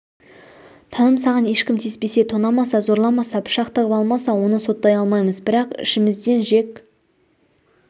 таным саған ешкім тиіспесе тонамаса зорламаса пышақ тығып алмаса оны соттай алмаймыз бірақ ішімізден жек